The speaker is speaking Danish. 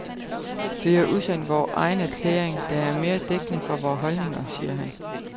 Vi har udsendt vor egen erklæring, der er mere dækkende for vor holdninger, siger han.